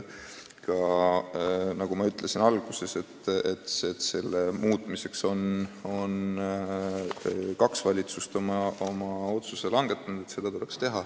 Nagu ma alguses ütlesin, kaks valitsust on otsuse langetanud, et see muudatus tuleks teha.